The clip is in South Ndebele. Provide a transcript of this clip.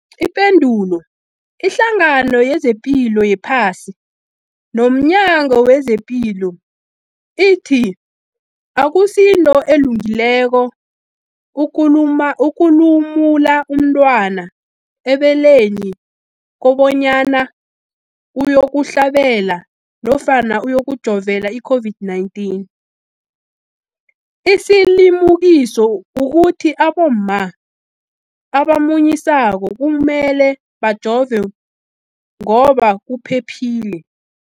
Ipendulo, iHlangano yezePilo yePhasi nomNyango wezePilo ithi akusinto elungileko ukulumula umntwana ebeleni kobanyana uyokuhlabela nofana uyokujovela i-COVID-19. Isilimukiso kukuthi abomma abamunyisako kumele bajove ngoba kuphephile.